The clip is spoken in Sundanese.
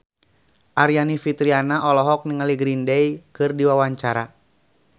Aryani Fitriana olohok ningali Green Day keur diwawancara